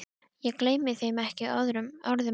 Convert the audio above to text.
Ég gleymi ekki þeim orðum hans.